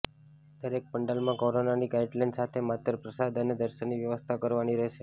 દરેક પંડાલમાં કોરોનાની ગાઇડલાઇન સાથે માત્ર પ્રસાદ અને દર્શનની વ્યવસ્થા કરવાની રહેશે